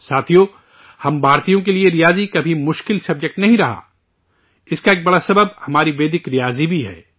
ساتھیو، ہم ہندوستانیوں کے لیے ریاضی کبھی مشکل موضوع نہیں رہا، اس کی ایک بڑی وجہ ہماری ویدک ریاضی بھی ہے